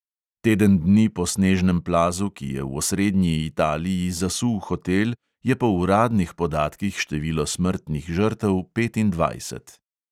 Teden dni po snežnem plazu, ki je v osrednji italiji zasul hotel, je po uradnih podatkih število smrtnih žrtev petindvajset.